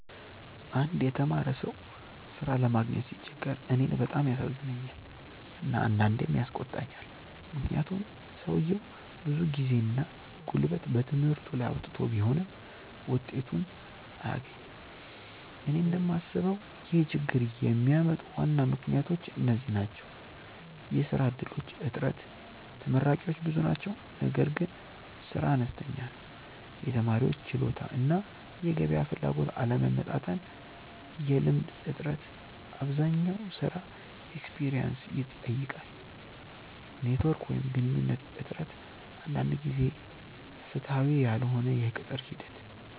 አንድ የተማረ ሰው ሥራ ለማግኘት ሲቸገር እኔን በጣም ያሳዝነኛል እና አንዳንዴም ያስቆጣኛል፤ ምክንያቱም ሰውየው ብዙ ጊዜና ጉልበት በትምህርቱ ላይ አውጥቶ ቢሆንም ውጤቱን አያገኝም። እኔ እንደምስበው ይህን ችግኝ የሚያመጡ ዋና ምክንያቶች እነዚህ ናቸው፦ የሥራ እድሎች እጥረት (ተመራቂዎች ብዙ ናቸው ነገር ግን ሥራ አነስተኛ ነው) የተማሪዎች ችሎታ እና የገበያ ፍላጎት አለመመጣጠን የልምድ እጥረት (አብዛኛው ሥራ “experience” ይጠይቃል) ኔትዎርክ ወይም ግንኙነት እጥረት አንዳንድ ጊዜ ፍትሃዊ ያልሆነ የቅጥር ሂደት